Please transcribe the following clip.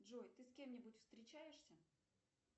джой ты с кем нибудь встречаешься